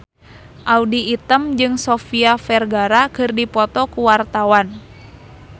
Audy Item jeung Sofia Vergara keur dipoto ku wartawan